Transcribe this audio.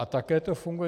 A také to funguje.